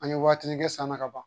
An ye watinin kɛ san na ka ban